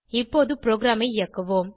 இப்போது ப்ரோகிராமை இயக்குவோம்